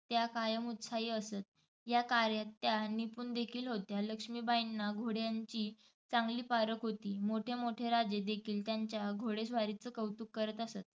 त्या कायम उत्साही असत. या कार्यात त्या निपूणदेखील होत्या. लक्ष्मीबाईंना घोड्यांची चांगली पारख होती. मोठे मोठे राजेही त्यांच्या घोडेस्वारीचं कौतुक करत असत.